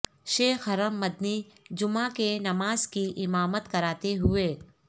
شیخ حرم مدنی جمعہ کے نماز کی امامت کراتے ہوئے